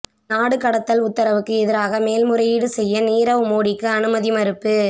நாடு கடத்தல் உத்தரவுக்கு எதிராக மேல்முறையீடு செய்ய நீரவ் மோடிக்கு அனுமதி மறுப்பு